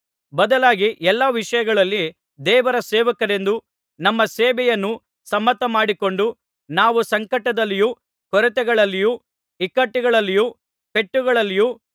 ಬದಲಾಗಿ ಎಲ್ಲಾ ವಿಷಯಗಳಲ್ಲಿ ದೇವರ ಸೇವಕರೆಂದು ನಮ್ಮ ಸೇವೆಯನ್ನು ಸಮ್ಮತ ಮಾಡಿಕೊಂಡು ನಾವು ಸಂಕಟದಲ್ಲಿಯೂ ಕೊರತೆಗಳಲ್ಲಿಯೂ ಇಕ್ಕಟ್ಟುಗಳಲ್ಲಿಯೂ ಪೆಟ್ಟುಗಳಲ್ಲಿಯೂ